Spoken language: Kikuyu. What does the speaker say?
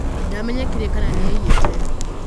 Ndamenyekire kana nĩaiĩte.